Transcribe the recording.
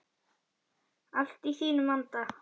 Allt í þínum anda.